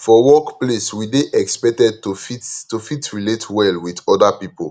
for workplace we dey expected to fit to fit relate well with oda pipo